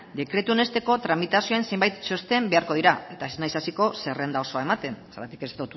dekretua onesteko tramitazioen zenbait txosten beharko dira eta ez naiz hasiko zerrenda osoa ematen zergatik ez